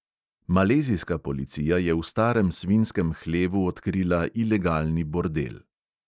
Malezijska policija je v starem svinjskem hlevu odkrila ilegalni bordel.